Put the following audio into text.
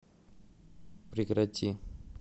прекрати